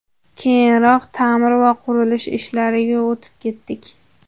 Keyinroq ta’mir va qurilish ishlariga o‘tib ketdik.